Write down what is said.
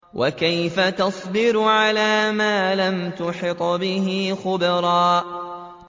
وَكَيْفَ تَصْبِرُ عَلَىٰ مَا لَمْ تُحِطْ بِهِ خُبْرًا